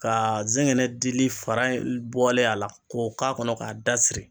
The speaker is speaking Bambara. Kaa zɛgɛnɛ dili fara in bɔlen a la k'o k'a kɔnɔ k'a dasiri